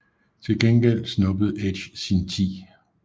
Til gengæld snuppede Edge sin 10